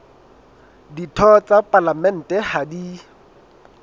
ditho tsa palamente ha di